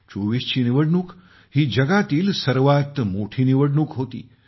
24 ची निवडणूक ही जगातील सर्वात मोठी निवडणूक होती